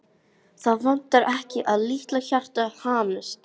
Það vantar ekki að litla hjartað hamist.